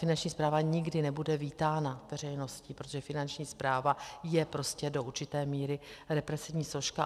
Finanční správa nikdy nebude vítána veřejností, protože Finanční správa je prostě do určité míry represivní složka.